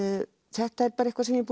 þetta er eitthvað sem ég